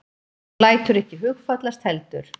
Hún lætur ekki hugfallast heldur.